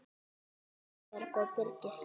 Linda Björg og Birgir Þór.